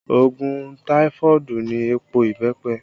Òògùn taifoodu ni èèpo ìbẹ́pẹ